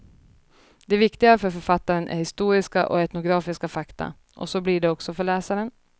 Det viktiga för författaren är historiska och etnografiska fakta, och så blir det också för läsaren.